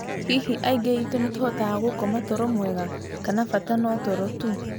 Hihi aingĩ aitũ nĩ tũhotaga gũkoma toro mwega, kana bata no toro tu?